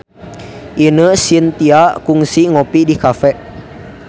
Ine Shintya kungsi ngopi di cafe